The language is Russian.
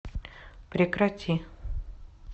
прекрати